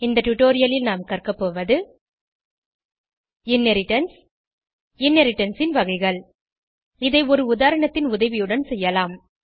இந்த டுடோரியலில் நாம் கற்கபோவது இன்ஹெரிடன்ஸ் இன்ஹெரிடன்ஸ் ன் வகைகள் இதை ஒரு உதாரணத்தின் உதவியுடன் செய்யலாம்